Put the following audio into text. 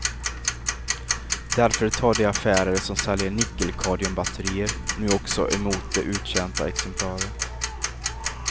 Därför tar de affärer som säljer nickelkadmiumbatterier nu också emot de uttjänta exemplaren.